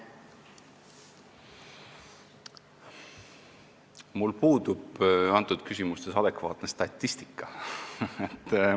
Mul puudub adekvaatne statistika selles küsimuses.